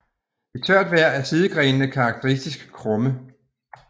I tørt vejr er sidegrenene karakteristisk krumme